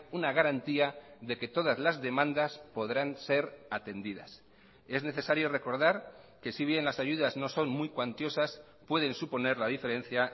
una garantía de que todas las demandas podrán ser atendidas es necesario recordar que si bien las ayudas no son muy cuantiosas pueden suponer la diferencia